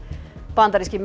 bandaríski